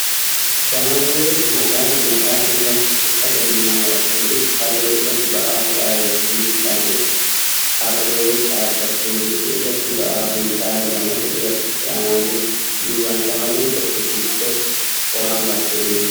Shamarrwe magaalli mataa irratti uffata diimaa marattee jirtu harree irratti ba'aa fe'aa yookin hidhaa jirti. Harree dhaabbattee jirtu irratti ba'aa kuntaala lamatu irratti fe'amaa jira Duuban shamarreen tokko dugdatti qoraan baattee deemaa jirti.